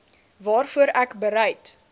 waarvoor ek bereid